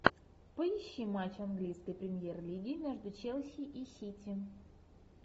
поищи матч английской премьер лиги между челси и сити